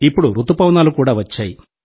ఇప్పుడు రుతుపవనాలు కూడా వచ్చాయి